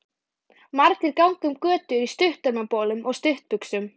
Margir ganga um götur í stuttermabolum og stuttbuxum.